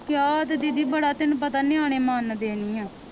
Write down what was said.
ਕਿਹਾ ਤੇ ਦੀਦੀ ਬੜਾ ਤੈਨੂੰ ਪਤਾ ਨਿਆਣੇ ਮੰਨਦੇ ਨੀ ਹੈ